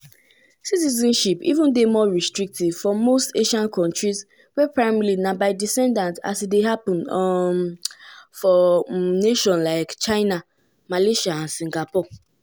um oga skrentny see di changes as part of one um broader global trend.